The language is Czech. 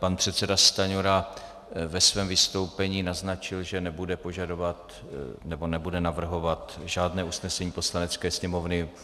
Pan předseda Stanjura ve svém vystoupení naznačil, že nebude požadovat, nebo nebude navrhovat žádné usnesení Poslanecké sněmovny.